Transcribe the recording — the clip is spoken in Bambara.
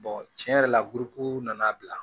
tiɲɛ yɛrɛ la nana bila